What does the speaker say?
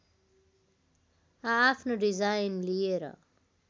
आआफ्नो डिजाइन लिएर